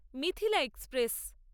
Mithila express